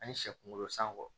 Ani sɛ kunkolo san kɔ